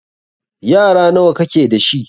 Yara nawa ka ke da shi?